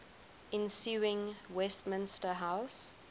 ensuing westminster house